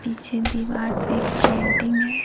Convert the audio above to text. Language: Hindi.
पीछे दीवार पे एक पेटिंग है।